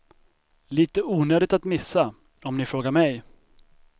Lite onödigt att missa, om ni frågar mig.